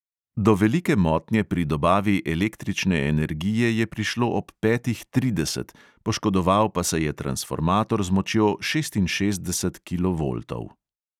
Do velike motnje pri dobavi električne energije je prišlo ob petih trideset, poškodoval pa se je transformator z močjo šestinšestdesetih kilovoltov.